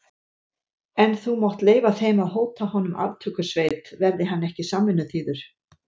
En þú mátt leyfa þeim að hóta honum aftökusveit, verði hann ekki samvinnuþýður.